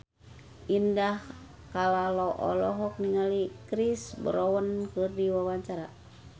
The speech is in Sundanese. Indah Kalalo olohok ningali Chris Brown keur diwawancara